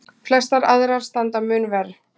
Flestar aðrar standa mun verr.